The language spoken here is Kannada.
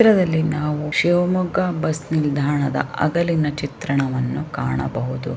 ಈ ಚಿತ್ರದಲ್ಲಿ ನಾವು ಶಿವಮೊಗ್ಗ ಬಸ್ ನಿಲ್ದಾಣ ಹಗಲಿನ ಚಿತ್ರಣವನ್ನು ಕಾಣಬಹುದು.